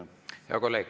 Hea kolleeg!